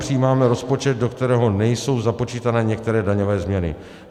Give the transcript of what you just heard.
Přijímáme rozpočet, do kterého nejsou započítané některé daňové změny.